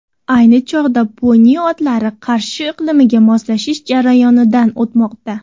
Ayni chog‘da poni otlari Qarshi iqlimiga moslashish jarayonidan o‘tmoqda.